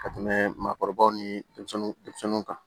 Ka tɛmɛ maakɔrɔbaw ni denmisɛnninw kan